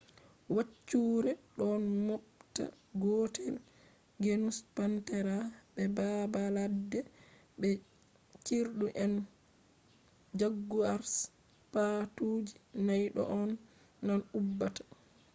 waccuure ɗo mooɓta gootelgenus panthera be baabaladde be cirɗu and jaguars. paatuuji nay ɗo on tan ubbata